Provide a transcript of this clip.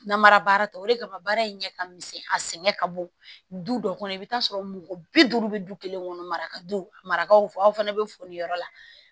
Namara baara tɔ o de kama baara in ɲɛ ka misɛn a sɛgɛn ka bon du dɔ kɔnɔ i bɛ taa sɔrɔ mɔgɔ bi duuru bɛ du kelen kɔnɔ maraka dun a marabagaw fɔ aw fana bɛ foli yɔrɔ la